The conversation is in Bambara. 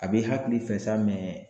A b'i hakili fɛ sa